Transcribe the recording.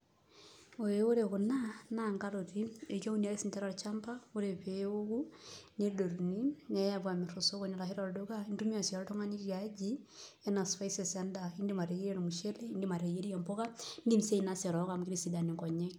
Olee ore kuna na nkaroti, keunibake sinche tolchamba ore peoku neyai apo amir tosokoni ashu tolduka, intumia si oltungani tiaji anaa spicies endaa indim ateyierie ormushele indim ateyierie mbuka, indim si ainosa erok amu kitisidan nkonyek.